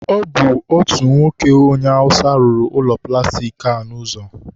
ọ bụ otu nwoke onye awụsa rụrụ ụlọ plastik a n'ụzọ.